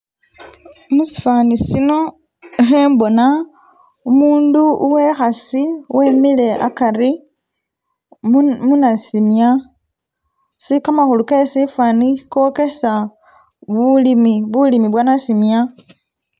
Musifaani sino khembona umundu uwehasi wemile akari muna munasimya, si kamakhulu ke sifaani kokesa bulimi bulimi bwo nasimya